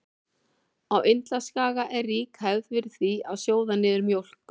Á Indlandsskaga er rík hefð er fyrir því að sjóða niður mjólk.